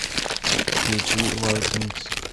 включи варкингс